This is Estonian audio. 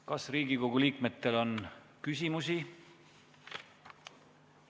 Kas Riigikogu liikmetel on küsimusi?